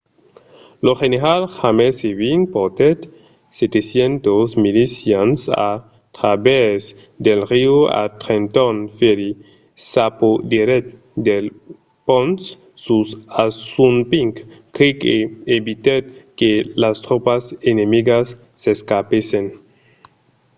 lo general james ewing portèt 700 milicians a travèrs del riu a trenton ferry s'apoderèt del pont sus assunpink creek e evitèt que las tropas enemigas s’escapèssen